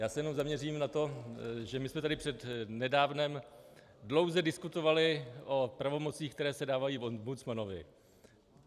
Já se jenom zaměřím na to, že my jsme tady před nedávnem dlouze diskutovali o pravomocích, které se dávají ombudsmanovi.